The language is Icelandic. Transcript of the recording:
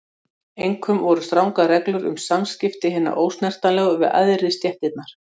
Einkum voru strangar reglur um samskipti hinna ósnertanlegu við æðri stéttirnar.